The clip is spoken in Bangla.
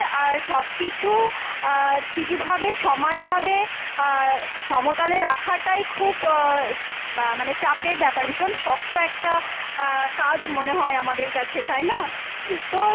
আর সব কিছু আহ ঠিক ভাবে সমান ভাবে আহ সমতলে রাখাটাই খুব আহ মা~ মানে চাপের ব্যাপার, ভীষণ শক্ত একটা আহ কাজ মনে হয় আমাদের কাছে, তাই না? তো,